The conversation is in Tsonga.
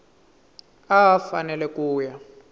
a a fanele ku ya